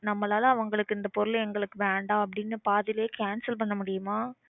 நம்மளால அவங்களுக்கு இந்த பொருள் எங்களுக்கு வேண்டாம் அப்படினு பாதிலயே cancel பண்ண முடியுமா?